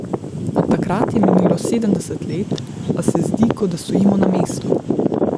Od takrat je minilo sedemdeset let, a se zdi, kot da stojimo na mestu.